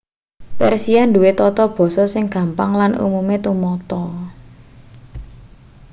persia duwe tata basa sing gampang lan umume tumata